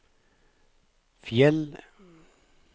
Fjell